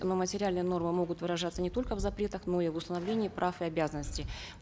но материальные нормы могут выражаться не только в запретах но и в установлении прав и обязанностей